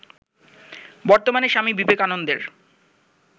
বর্তমানে স্বামী বিবেকানন্দের